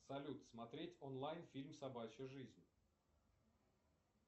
салют смотреть онлайн фильм собачья жизнь